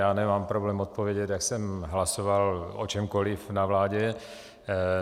Já nemám problém odpovědět, jak jsem hlasoval o čemkoli na vládě.